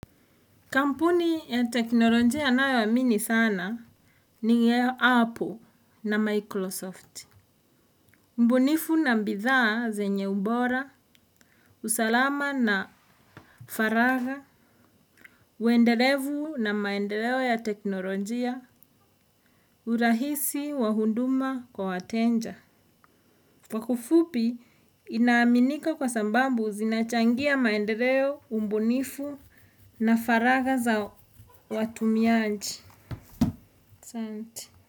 Kampuni ya teknolojia ninayoamini sana ni ya Apple na Microsoft. Ubunifu na mbidhaa zenye ubora, usalama na faraga, uendelevu na maendeleo ya teknolojia, urahisi wa hunduma kwa wateja. Kwa kifupi inaaminika kwa sababu zinachangia maendeleo, ubunifu na faraga za watumiaji. Asanti.